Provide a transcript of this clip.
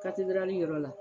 yɔrɔ la